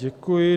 Děkuji.